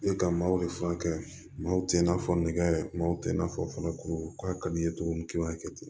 E ka maaw de furakɛ maaw tɛ n'a fɔ nɛgɛ maw tɛ n'a fɔ fana kuru k'a ka d'i ye cogo min k'i b'a kɛ ten